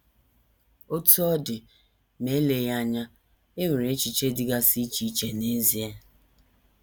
Otú ọ dị, ma eleghị anya, e nwere echiche dịgasị iche iche n’ezie.